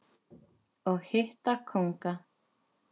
og hitta kónga.